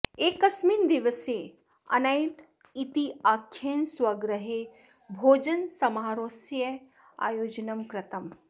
एकस्मिन् दिवसे अनैट् इत्याख्येन स्वगृहे भोजनसमारोहस्य आयोजनं कृतम्